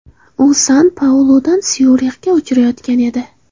U San-Pauludan Syurixga uchayotgan edi.